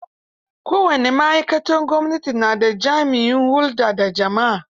Kowace ma'aikatar gwamnati na da jami'in hulɗa da jama'a.